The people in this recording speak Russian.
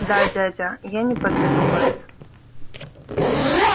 да дядя я не подведу вас